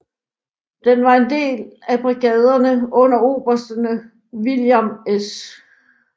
Det var brigaderne under obersterne William S